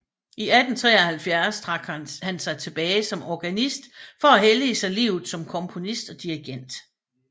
I 1873 trak han sig tilbage som organist for at hellige sig livet som komponist og dirigent